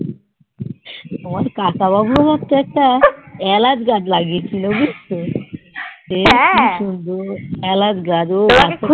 তোমার কাকা বাবু হচ্ছে একটা এলাজ গাছ লাগিয়ে ছিল বুজছো সে কি সুন্দ্রর এলাচ গাছ